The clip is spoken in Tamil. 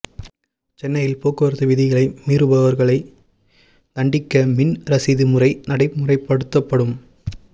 சென்னையில் போக்குவரத்து விதிகளை மீறுபவர்களை தண்டிக்க மின் ரசீது முறை நடைமுறைபடுத்தப்படும்